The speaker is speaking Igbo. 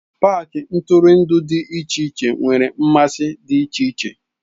paaki ntụrụndụ dị iche iche nwere mmasị dị iche iche.